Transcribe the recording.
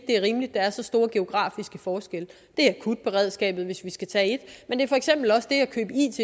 det er rimeligt at der er så store geografiske forskelle det er akutberedskabet hvis vi skal tage